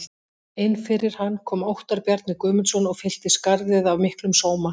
Inn fyrir hann kom Óttar Bjarni Guðmundsson og fyllti skarðið af miklum sóma.